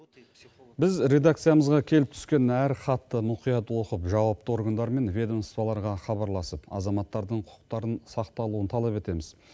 біз редакциямызға келіп түскен әр хатты мұқият оқып жауапты органдар мен ведомстволарға хабарласып азаматтардың құқықтарын сақталуын талап етеміз